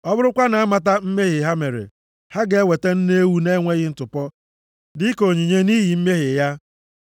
ọ bụrụkwa na-amata mmehie ha mere, ha ga-eweta nne ewu na-enweghị ntụpọ dịka onyinye nʼihi mmehie ya.